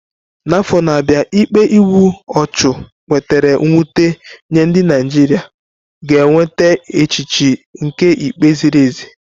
N'afọ na-abịa, ikpe igbu ọchụ wetara mwute nye ndị Naijiria ga-enweta echiche nke ikpe ziri ezi.